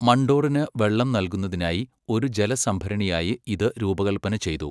മണ്ഡോറിന് വെള്ളം നൽകുന്നതിനായി ഒരു ജലസംഭരണിയായി ഇത് രൂപകൽപ്പന ചെയ്തു.